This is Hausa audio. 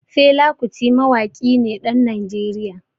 Fela Kuti Mawaƙi ne ɗan Najeriya.